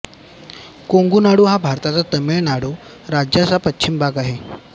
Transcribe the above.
कोंगु नाडू हा भारताच्या तामिळ नाडू राज्याचा पश्चिम भाग आहे